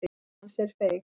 Sál hans er feig.